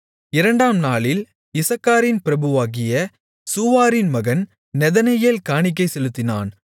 இரண்டாம் நாளில் இசக்காரின் பிரபுவாகிய சூவாரின் மகன் நெதனெயேல் காணிக்கை செலுத்தினான்